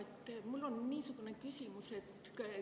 Riina, mul on niisugune küsimus.